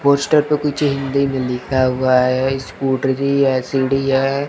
Poster पे कुछ हिंदी में लिखा हुआ है। स्कूटरी है सीडी है।